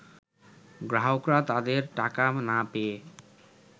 গ্রাহকরা তাদের টাকা না পেয়ে